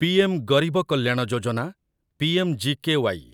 PM Garib Kalyan Yojana PMGKY